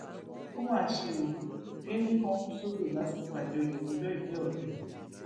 ó má ṣe ọ géńdé kan kù sódò lásìkò àjọyọ ọjọbí ọrẹ rẹ